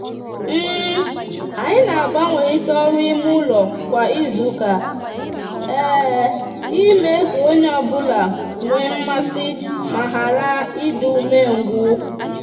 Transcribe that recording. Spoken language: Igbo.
anyi na agbanwerita oru ime ulo kwa izuuka ime ka onye onye obula nwe mmasi ma hara idi umengwu